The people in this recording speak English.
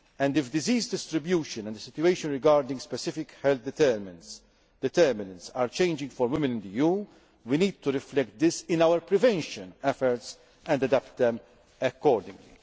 young women. If disease distribution and the situation regarding specific health determinants are changing for women in the EU, we need to reflect this in our prevention efforts and adapt